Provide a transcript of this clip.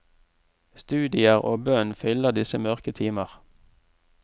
Studier og bønn fyller disse mørke timer.